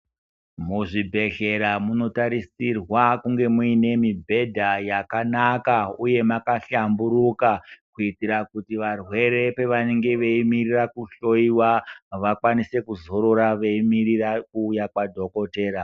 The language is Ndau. Muzvibhedhlera munotarisirwa kunge muine mibhedha yakanaka uye makahlamburuka kuitira kuti varwere pavanenge veimirira kuhloyiwa vakwanise kuzorora veimirira kuuya Kwa dhokodhera.